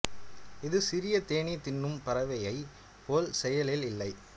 இது சிறிய தேனீ தின்னும் பறவையைப் போல் செயலில் இல்லை